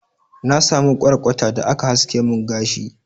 na samu kwarkwata da aka haske mun gashi